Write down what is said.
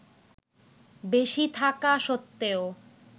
বেশি থাকা সত্ত্বেও